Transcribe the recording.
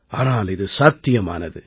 ஆனால் இது சாத்தியமானது